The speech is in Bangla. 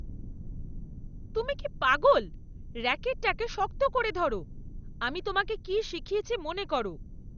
তুমি কি পাগল! র‍্যাকেটটা শক্ত করে ধরো। আমি তোমাকে কি শিখিয়েছি মনে করো।